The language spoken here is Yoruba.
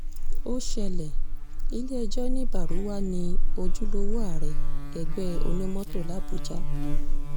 ó ṣẹlẹ̀ ilé-ẹjọ́ ní baruwa ní ojúlówó ààrẹ ẹgbẹ́ onímọ́tò làbújá